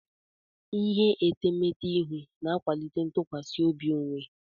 Ihe etemeete ihu na-akwalite ntụkwasị obi onwe.